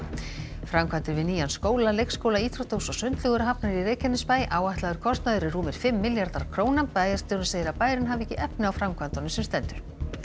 framkvæmdir við nýjan skóla leikskóla íþróttahús og sundlaug eru hafnar í Reykjanesbæ áætlaður kostnaður er rúmir fimm milljarðar króna bæjarstjórinn segir að bærinn hafi ekki efni á framkvæmdunum sem stendur